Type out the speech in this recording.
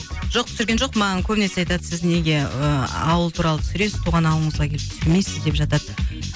жоқ түсірген жоқпын маған көбінесе айтады сіз неге ыыы ауыл туралы түсіресіз туған ауылыңызға келіп тусірмейсіз деп жатады